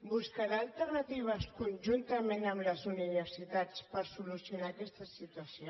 buscarà alternatives conjuntament amb les universitats per solucionar aquesta situació